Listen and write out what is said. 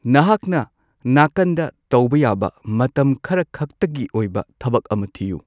ꯅꯍꯥꯛꯅ ꯅꯥꯀꯟꯗ ꯇꯧꯕ ꯌꯥꯕ ꯃꯇꯝ ꯈꯔꯈꯛꯇꯒꯤ ꯑꯣꯏꯕ ꯊꯕꯛ ꯑꯃ ꯊꯤꯎ꯫